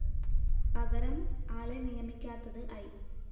പകരം ആളെ നിയമിക്കാത്തത് ഐ